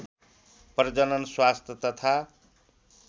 प्रजनन स्वास्थ्य तथा